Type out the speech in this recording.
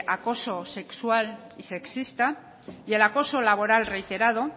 acoso sexual y sexista y el acoso laboral reiterado